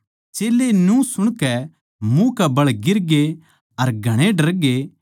चेल्लें न्यू सुणकै मुँह कै बळ गिरगे अर घणे डरगे